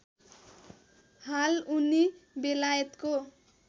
हाल उनी बेलायतको